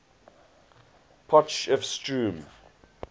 potchefstroom